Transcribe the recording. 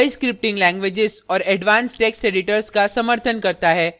कई scripting languages और advanced text editors का समर्थन करता है